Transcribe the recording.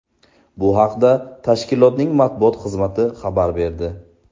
Bu haqda tashkilotning matbuot xizmati xabar berdi.